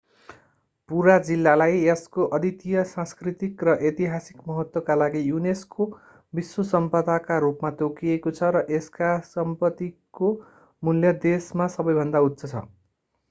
पूरा जिल्लालाई यसको अद्वितीय सांस्कृतिक र ऐतिहासिक महत्त्व का लागि unesco विश्व सम्पदाका रूपमा तोकिएको छ र यसका सम्पत्तिको मूल्य देशमा सबैभन्दा उच्च छ